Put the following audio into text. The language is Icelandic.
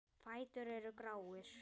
Fætur eru gráir.